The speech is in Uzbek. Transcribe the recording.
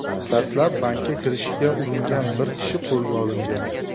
Dastlab bankka kirishga uringan bir kishi qo‘lga olingan.